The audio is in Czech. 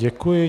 Děkuji.